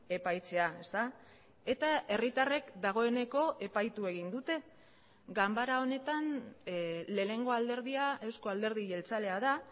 epaitzea ezta eta herritarrek dagoeneko epaitu egin dute ganbara honetan lehenengo alderdia euzko alderdi jeltzalea da